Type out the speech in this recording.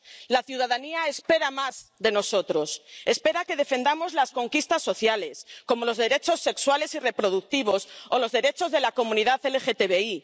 La ciudadanía espera más de nosotros espera que defendamos las conquistas sociales, como los derechos sexuales y reproductivos o los derechos de la comunidad LGTBI